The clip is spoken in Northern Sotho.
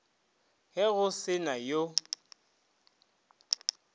ge go se na yo